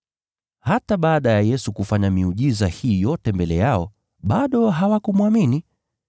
Hata baada ya Yesu kufanya miujiza hii yote mbele yao, bado hawakumwamini.